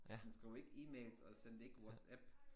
Man skrev ikke e-mails og skrev ikke WhatsApp